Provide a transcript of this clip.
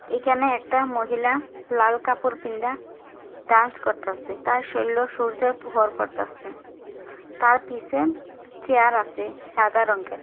এখানে একটা মহিলা-আ লাল কাপড় পিন্দা ডান্স করতাসে তার শরীলো সূর্যর পড়তাসে। তার পিসে চেয়ার আসে সাদা রঙ্গের ।